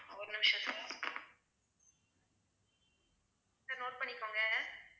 ஒரு நிமிஷம் sir sir note பண்ணிக்கோங்க.